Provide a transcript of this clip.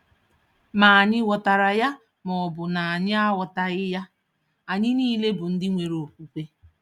Ma ànyị ghọtara ya ma ọ bụ na anyị aghọtaghị ya, anyị nile bụ ndị nwere okwukwe.